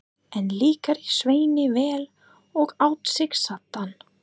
Enn líkaði Sveini vel og át sig saddan.